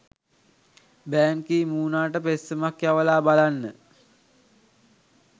බෑන් Ki මූනාට පෙත්සමක් යවලා බලන්න.